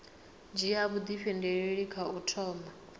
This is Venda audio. dzhia vhuifhinduleli kha u thoma